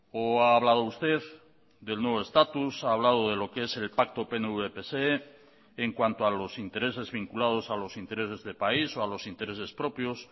o ha hablado usted del nuevo estatus ha hablado de lo que es el pacto pnv pse en cuanto a los intereses vinculados a los intereses de país o a los intereses propios